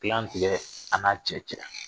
Gilan tigɛ a n'a cɛ cɛ.